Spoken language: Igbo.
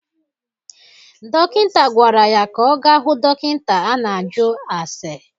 Dokịnta gwara ya ka ọ ga hụ dokịnta a na-ajụ ase.